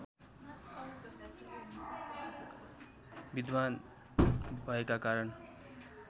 विद्वान् भएका कारण